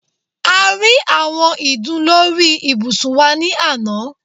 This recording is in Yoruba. A rí àwọn ìdun lórí ibùsùn wa ni àná